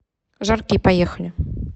жарки поехали